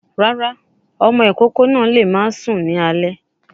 Rárá, ọmọ ìkókó náà lè máa sunkún ní alé.